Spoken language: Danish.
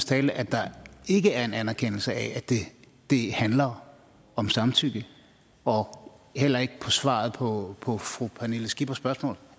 tale at der ikke er en anerkendelse af at det handler om samtykke og heller ikke i svaret på på fru pernille skippers spørgsmål